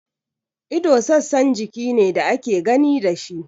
Ido sassan jiki ne da ake gani da shi.